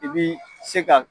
I b'i se ka